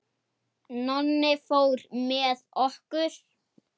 Nonni fór með okkur.